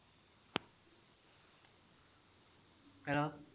hello